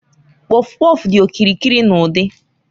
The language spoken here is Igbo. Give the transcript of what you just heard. Kpọfkpọf dị okirikiri na udi.